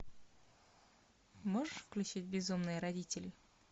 можешь включить безумные родители